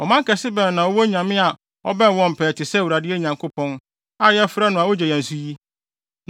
Ɔman kɛse bɛn na ɔwɔ onyame a ɔbɛn wɔn pɛɛ te sɛ Awurade, yɛn Nyankopɔn, a yɛfrɛ no a ogye yɛn so yi?